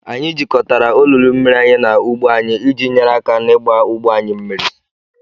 Anyị jikọtara olulu mmiri anyị na ugbo anyị iji nyere aka n'ịgba ugbo anyị mmiri.